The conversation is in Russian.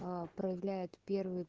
а проявляет первый